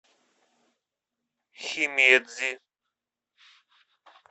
химедзи